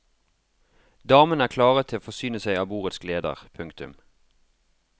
Damene er klare til å forsyne seg av bordets gleder. punktum